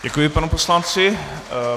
Děkuji panu poslanci.